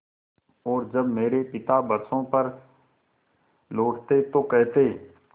और जब मेरे पिता बरसों पर लौटते तो कहते